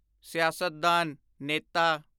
ਸਿਆਸਤਦਾਨ (ਨੇਤਾ)